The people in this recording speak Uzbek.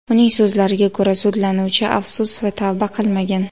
Uning so‘zlariga ko‘ra, sudlanuvchi afsus va tavba qilmagan.